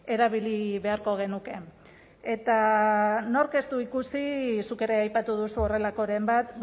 erabili beharko genuke eta nork ez du ikusi zuk ere aipatu duzu horrelakoren bat